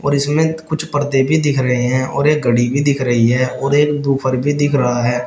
इसमें कुछ पर्दे भी दिख रहे हैं और एक घड़ी भी दिख रही है और एक बुफर भी दिख रहा है।